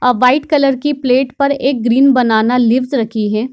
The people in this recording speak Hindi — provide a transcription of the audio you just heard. अ वाइट कलर की प्लेट पर एक ग्रीन बनाना लीव्स रखी हैं।